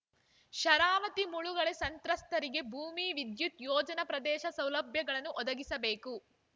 ಶರಾವತಿ ಮುಳುಗಡೆ ಸಂತ್ರಸ್ತರಿಗೆ ಭೂಮಿ ವಿದ್ಯುತ್‌ ಯೋಜನಾ ಪ್ರದೇಶ ಸೌಲಭ್ಯಗಳನ್ನು ಒದಗಿಸಬೇಕು